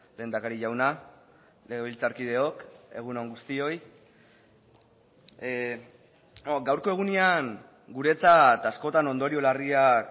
lehendakari jauna legebiltzarkideok egun on guztioi gaurko egunean guretzat askotan ondorio larriak